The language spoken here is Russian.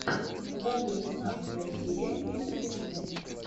покажи шестнадцатая серия вице президент